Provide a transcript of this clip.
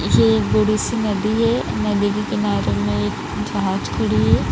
यह बड़ी सी नदी है नदी के किनारे में एक जहाज़ खड़ी है।